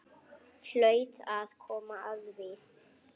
Hlaut að koma að því.